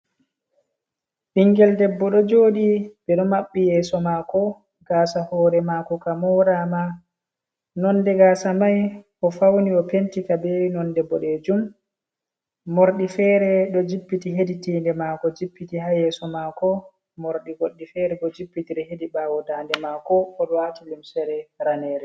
Ɓingel debbo do jodi be do mabbi yeso mako gasa hore mako kamora ma, nonde gasa mai o fauni o penti ka be non de boddejum mordi fere do jippiti heditinde mako, jippiti ha yeso mako mordi goddi fere go jippitire hedi bawo dande mako odwati lumsere ranere.